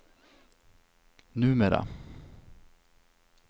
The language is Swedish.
numera